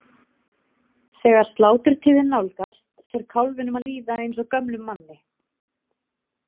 Þegar sláturtíðin nálgast fer kálfinum að líða eins og gömlum manni.